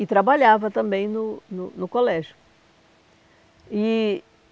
E trabalhava também no no no colégio. E